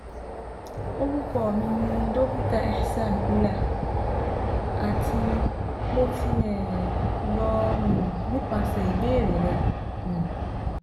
Orukọ mi ni Dokita Ehsan Ullah ati Mo ti um lọ um nipasẹ ibeere rẹ um